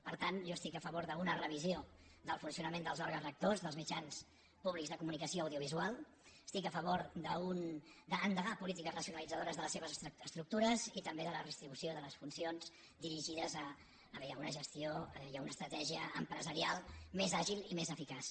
per tant jo estic a favor d’una revisió del funcionament dels òrgans rectors dels mitjans públics de comunicació audiovisual estic a favor d’endegar polítiques racionalitzadores de les seves estructures i també de la redistribució de les funcions dirigides a una gestió i a una estratègia empresarials més àgils i més eficaces